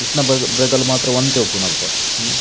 ಕ್ರಷ್ನ ಭ್ರಗ ಲು ಮಾತ್ರ ಒಂತೆ ಇಪ್ಪುನು ಅಲ್ಪ.